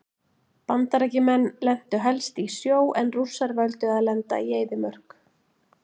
Bandaríkjamenn lentu helst í sjó en Rússar völdu að lenda í eyðimörk.